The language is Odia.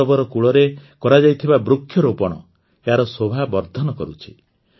ସରୋବର କୂଳରେ କରାଯାଇଥିବା ବୃକ୍ଷରୋପଣ ଏହାର ଶୋଭା ବର୍ଦ୍ଧନ କରୁଛି